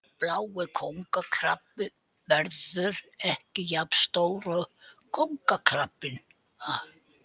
Blái kóngakrabbinn verður ekki jafn stór og kóngakrabbinn.